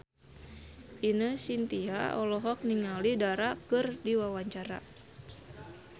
Ine Shintya olohok ningali Dara keur diwawancara